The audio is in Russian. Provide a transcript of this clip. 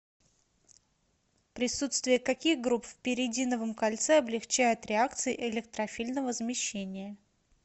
присутствие каких групп в пиридиновом кольце облегчает реакции электрофильного замещения